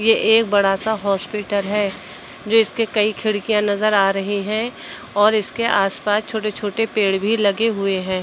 ये एक बड़ा सा हॉस्पिटल है जिसके कई खिड़कियां नजर आ रहीं हैं और इसके आस-पास छोटे-छोटे पेड़ भी लगे हुएं हैं।